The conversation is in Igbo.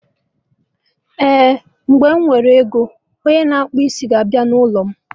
Ehen, mgbe mụ nwere ego, onye na akpụ isi ga abịa n'ụlọ